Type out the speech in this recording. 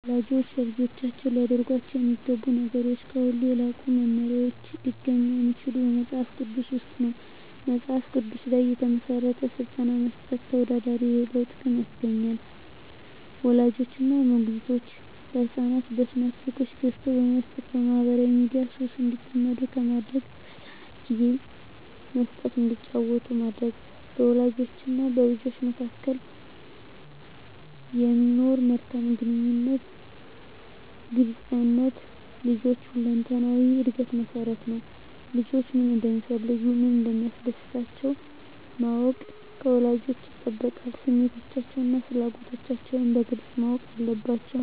ወላጆች ለልጆቻቸው ሊያደርጓቸው የሚገቡ ነገሮች ከሁሉ የላቁ መመሪያዎች ሊገኙ የሚችሉት በመጽሐፍ ቅዱስ ውስጥ ነው። በመጽሐፍ ቅዱስ ላይ የተመሠረተ ሥልጠና መስጠት ተወዳዳሪ የሌለው ጥቅም ያስገኛል። ወላጆች እና ሞግዚቶች ለሕፃናት በስማርት ስልኮችን ገዝተው በመስጠት በማኅበራዊ ሚዲያ ሱስ እንዲጠመዱ ከማድረግ ለሕፃናት ጊዜ መስጠት እንዲጫወቱ ማድረግ፣ በወላጆችና በልጆች መካከል የሚኖር መልካም ግንኙነትና ግልጽነት ለልጆች ሁለንተናዊ ዕድገት መሠረት ነው። ልጆች ምን እንደሚፈልጉ፣ ምን እንደሚያስደስታቸው ማወቅ ከወላጆች ይጠበቃል። ስሜቶቻቸውንና ፍላጎቶቻቸውን በግልጽ ማወቅ አለባቸዉ።